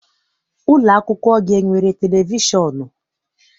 Ụlọakwụkwọ gị enwere televishọn?